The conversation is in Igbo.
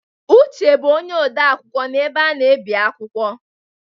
Uche bụ onye ode akwụkwọ n'ebe a na-ebi akwụkwọ.